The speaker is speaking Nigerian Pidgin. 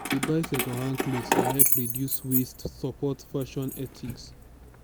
to dey buy second hand cloth dey help reduce waste support fashion ethics